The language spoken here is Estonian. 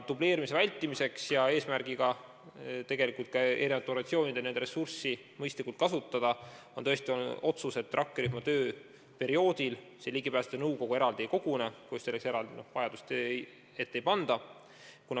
Dubleerimise vältimiseks ja et eri organisatsioonide ressurssi mõistlikult kasutada, on olnud otsus, et rakkerühma tööperioodil ligipääsetavuse nõukogu eraldi ei kogune, kui selleks eraldi vajadust ei ilmne.